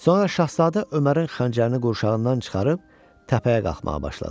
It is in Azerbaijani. Sonra şahzadə Ömərin xəncərini qurşağından çıxarıb təpəyə qalxmağa başladı.